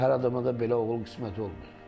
Hər adama da belə oğul qismət olmur.